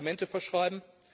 Medikamente verschreiben?